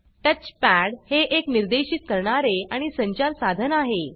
touchpad हे एक निर्देर्शित करणारे आणि संचार साधन आहे